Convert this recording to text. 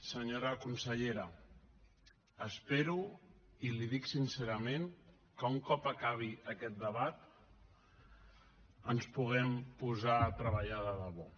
senyora consellera espero i l’hi dic sincerament que un cop acabi aquest debat ens puguem posar a treballar de debò